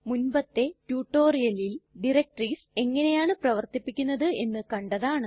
മുൻപത്തെ റ്റുറ്റൊരിയലിൽ ഡയറക്ടറീസ് എങ്ങനെയാണു പ്രവര്ത്തിപ്പിക്കുന്നത് എന്ന് കണ്ടതാണ്